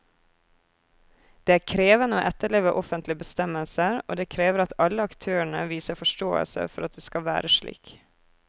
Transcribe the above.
Det er krevende å etterleve offentlige bestemmelser, og det krever at alle aktørene viser forståelse for at det skal være slik.